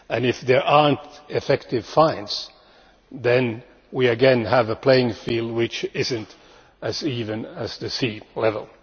If there are no effective fines, then we again have a playing field which is not as even as the sea level.